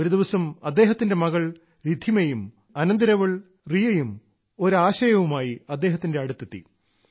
ഒരുദിവസം അദ്ദേഹത്തിന്റെ മകൾ രിദ്ധിമയും അനന്തിരവൾ റിയയും ഒരു ആശയവുമായി അദ്ദേഹത്തിന്റെ അടുത്തെത്തി